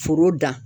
Foro dan